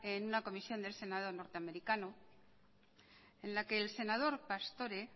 en una comisión del senado norteamericano en la que el senador pastore